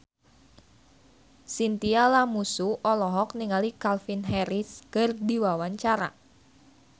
Chintya Lamusu olohok ningali Calvin Harris keur diwawancara